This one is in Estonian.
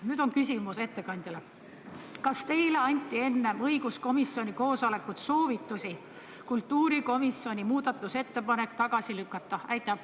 Ja nüüd on küsimus ettekandjale: kas teile anti enne õiguskomisjoni koosolekut soovitusi kultuurikomisjoni muudatusettepanek tagasi lükata?